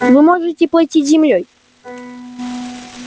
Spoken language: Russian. вы можете платить землёй